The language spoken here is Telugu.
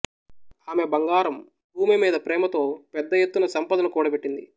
ఆమె బంగారం భూమిమీద ప్రేమతో పెద్ద ఎత్తున సంపదను కూడబెట్టింది